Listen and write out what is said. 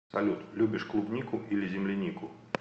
салют любишь клубнику или землянику